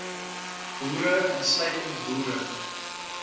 boere insluitend boere